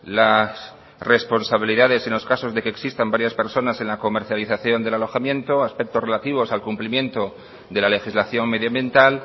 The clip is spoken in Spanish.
las responsabilidades en los casos de que existan varias personas en la comercialización del alojamiento aspectos relativos al cumplimiento de la legislación medioambiental